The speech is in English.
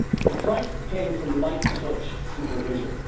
The crisis came from light touch supervision.